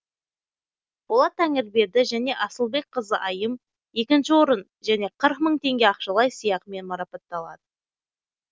болат тәңірберді және асылбекқызы айым екінші орын және қырық мың тенге ақшалай сыйақымен марапатталады